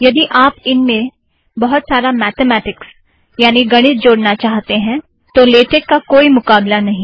यदि आप इनमें बहुत सारा मॆथमाटिकस अथ्वा गणित जोड़ना चाहते है तो लेटेक का कोई मुकाबला नहीं